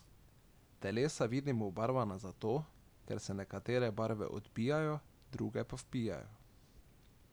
Telesa vidimo obarvana zato, ker se nekatere barve odbijajo, druge pa vpijajo.